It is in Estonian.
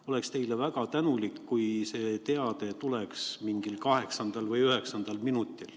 Oleksin teile väga tänulik, kui see teade tuleks mingil kaheksandal või üheksandal minutil.